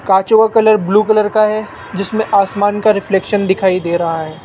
कांचों का colour blue colour का है जिसमें आसमान का रिफ्लेक्शन दिखाई दे रहा है।